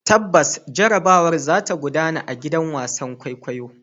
Tabbas, jarrabawar za ta gudana a gidan wasan kwaikwayo.